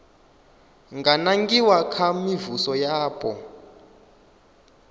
nga nangiwa kha mivhuso yapo